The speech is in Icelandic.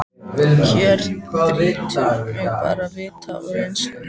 Hér þrýtur mig bara vit og reynslu.